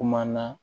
Kuma na